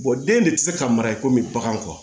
den de tɛ se ka mara i komi baganw